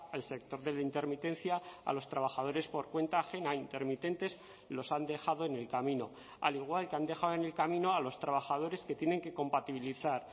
al sector de la intermitencia a los trabajadores por cuenta ajena intermitentes los han dejado en el camino al igual que han dejado en el camino a los trabajadores que tienen que compatibilizar